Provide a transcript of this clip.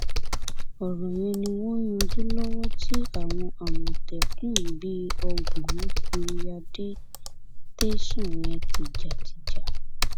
ọrọ yẹn ni wọn ń yanjú lọwọ tí àwọn àmọtẹkùn bíi ọgbọn fi ya dé tẹsán yẹn tìjàtìjà